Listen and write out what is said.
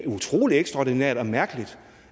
utrolig ekstraordinært og mærkeligt